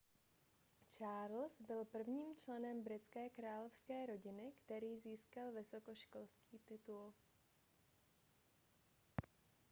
charles byl prvním členem britské královské rodiny který získal vysokoškolský titul